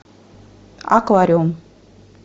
аквариум